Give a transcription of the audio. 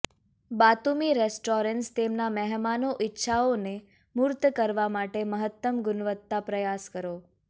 Batumi restaurants તેમના મહેમાનો ઇચ્છાઓ ને મૂર્ત કરવા માટે મહત્તમ ગુણવત્તા પ્રયાસ કરો